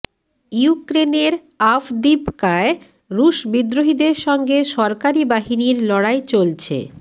ইউক্রেনের আভদিভকায় রুশ বিদ্রোহীদের সঙ্গে সরকারি বাহিনীর লড়াই চলছে